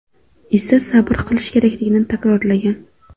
esa sabr qilishi kerakligini takrorlagan.